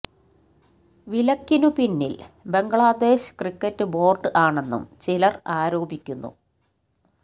വിലക്കിനു പിന്നിൽ Bangladesh cricket board ആണെന്നും ചിലർ ആരോപിക്കുന്നു